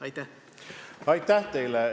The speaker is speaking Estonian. Aitäh teile!